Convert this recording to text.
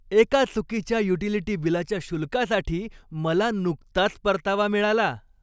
एका चुकीच्या युटिलिटी बिलाच्या शुल्कासाठी मला नुकताच परतावा मिळाला.